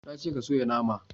Na ce ka soya nama!